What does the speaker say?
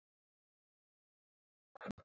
Og þannig er að deyja.